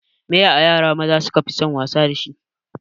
Me ye ayara maza su kafi son wasa dashi?